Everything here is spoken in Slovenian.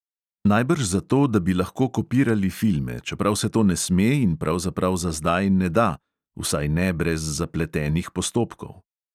Najbrž zato, da bi lahko kopirali filme, čeprav se to ne sme in pravzaprav za zdaj ne da (vsaj ne brez zapletenih postopkov).